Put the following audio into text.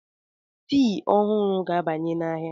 Tii ọhụrụ ga-abanye n'ahịa.